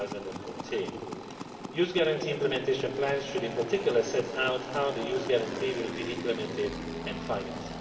2014. Youth Guarantee Implementation Plans should in particular set out how the Youth Guarantee will be implemented and financed.